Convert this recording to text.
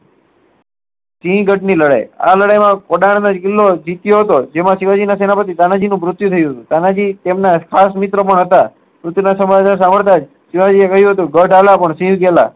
સિહગઢ ની લડાઈ આ લડાઈ માં કોડન નો કિલ્લો જીત્યો હતો જેમાં શિવાજી ના સેનાપતિ નું મૃત્યુ થયું હતું તાનાજી તેમના ખાસ મિત્ર પણ હતા